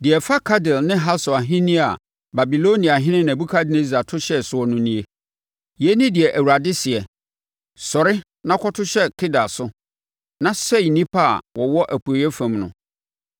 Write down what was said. Deɛ ɛfa Kedar ne Hasor ahennie a Babiloniahene Nebukadnessar to hyɛɛ soɔ no nie. Yei ne deɛ Awurade seɛ: “Sɔre na kɔto hyɛ Kedar so na sɛe nnipa a wɔwɔ apueeɛ fam no.